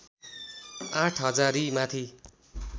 आठ हजारीमाथि